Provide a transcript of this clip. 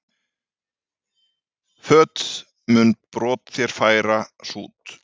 Fót mun brot þér færa sút.